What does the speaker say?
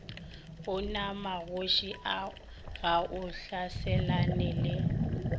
onamagoši a ga a hlaselanele